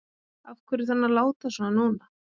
Af hverju þarf hann að láta svona núna?